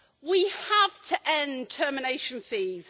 We have to end termination fees.